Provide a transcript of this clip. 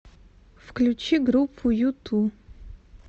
включи группу юту